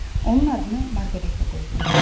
Onun adını Marqareta qoydum.